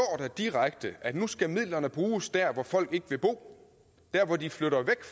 der direkte at nu skal midlerne bruges der hvor folk ikke vil bo der hvor de flytter væk